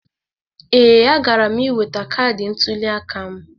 Ee, agara m iweta kaadị ntụliaka m.